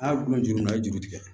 A' kulo juru a ye juru tigɛ